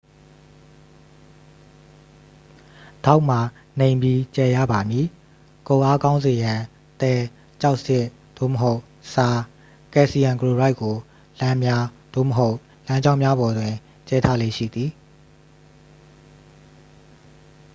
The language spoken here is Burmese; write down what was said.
ဒေါက်မှာ နိမ့်ပြီး ကျယ်ရပါမည်။ ကုတ်အားကောင်းစေရန် သဲ၊ ကျောက်စရစ် သို့မဟုတ် ဆား ကယ်လ်ဆီယမ်ကလိုရိုက် ကို လမ်းများ သို့မဟုတ် လမ်းကြောင်းများပေါ်တွင် ကြဲထားလေ့ရှိသည်။